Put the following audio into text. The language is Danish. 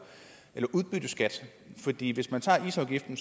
udbytteskat isafgiften